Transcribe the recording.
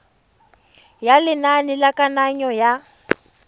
ya lenane la kananyo ya